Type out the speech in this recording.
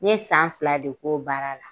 N ye san fila de k'o baara la